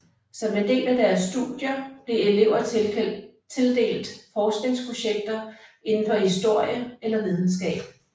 Som en del af deres studier blev elever tildelt forskningsprojekter inden for historie eller videnskab